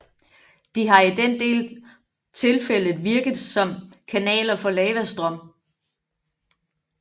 De har i den del tilfældet virket som kanaler for en lavastrøm